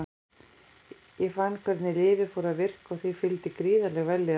Ég fann hvernig lyfið fór að virka og því fylgdi gríðarleg vellíðan.